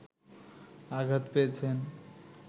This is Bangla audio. আঘাত পেয়েছেন